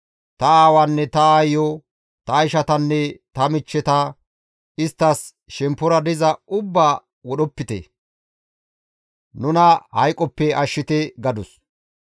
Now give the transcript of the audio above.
Ta aawaanne ta aayiyo, ta ishatanne ta michcheta isttas shemppora diza ubbaa wodhopite; nuna hayqoppe ashshite» gadus.